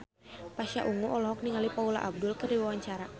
Pasha Ungu olohok ningali Paula Abdul keur diwawancara